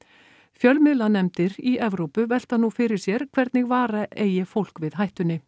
fjölmiðlanefndir í Evrópu velta nú fyrir sér hvernig vara eigi fólk við hættunni